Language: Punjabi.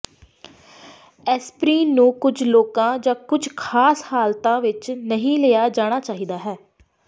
ਐਸਪਰੀਨ ਨੂੰ ਕੁਝ ਲੋਕਾਂ ਜਾਂ ਕੁਝ ਖਾਸ ਹਾਲਤਾਂ ਵਿਚ ਨਹੀਂ ਲਿਆ ਜਾਣਾ ਚਾਹੀਦਾ ਹੈ